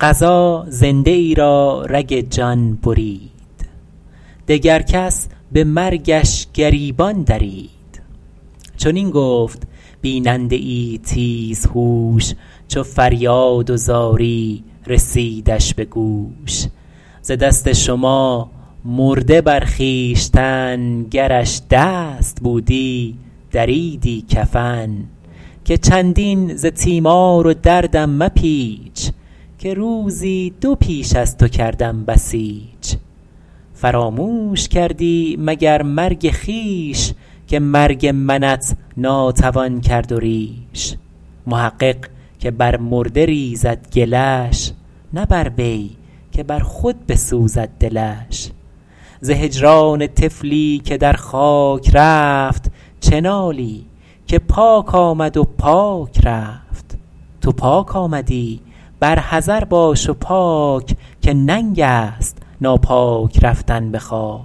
قضا زنده ای را رگ جان برید دگر کس به مرگش گریبان درید چنین گفت بیننده ای تیز هوش چو فریاد و زاری رسیدش به گوش ز دست شما مرده بر خویشتن گرش دست بودی دریدی کفن که چندین ز تیمار و دردم مپیچ که روزی دو پیش از تو کردم بسیچ فراموش کردی مگر مرگ خویش که مرگ منت ناتوان کرد و ریش محقق که بر مرده ریزد گلش نه بر وی که بر خود بسوزد دلش ز هجران طفلی که در خاک رفت چه نالی که پاک آمد و پاک رفت تو پاک آمدی بر حذر باش و پاک که ننگ است ناپاک رفتن به خاک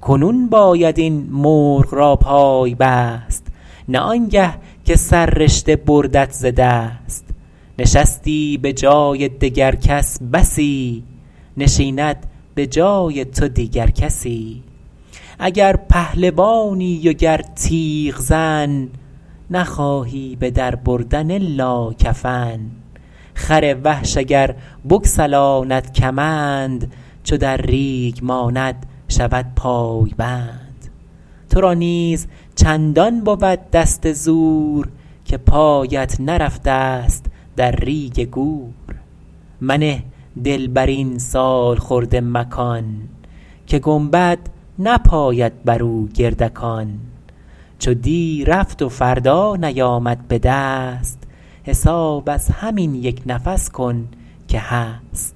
کنون باید این مرغ را پای بست نه آنگه که سررشته بردت ز دست نشستی به جای دگر کس بسی نشیند به جای تو دیگر کسی اگر پهلوانی و گر تیغزن نخواهی به در بردن الا کفن خر وحش اگر بگسلاند کمند چو در ریگ ماند شود پای بند تو را نیز چندان بود دست زور که پایت نرفته ست در ریگ گور منه دل بر این سالخورده مکان که گنبد نپاید بر او گردکان چو دی رفت و فردا نیامد به دست حساب از همین یک نفس کن که هست